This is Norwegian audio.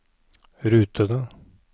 rutene